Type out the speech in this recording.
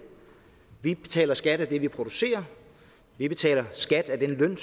vi betaler skat af det vi producerer vi betaler skat af den løn